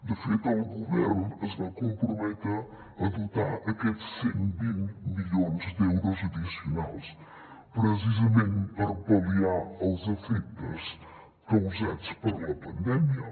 de fet el govern es va comprometre a dotar aquests cent i vint milions d’euros addicionals precisament per pal·liar els efectes causats per la pandèmia